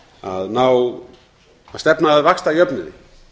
að ná að stefna að vaxtajöfnuði